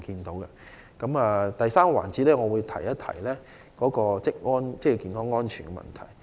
在第三個環節中，我會提述職業安全健康的問題。